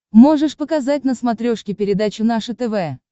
можешь показать на смотрешке передачу наше тв